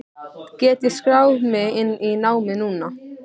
Get ég skráð mig inn í námið núna?